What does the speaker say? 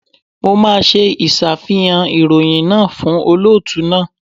Mo máa ṣe ìṣàfihàn ìròyìn náà fún olóòtú náà.